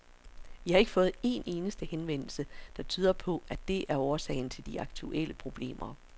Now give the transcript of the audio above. Vi har ikke fået en eneste henvendelse, der tyder på, at det er årsagen til de aktuelle problemer.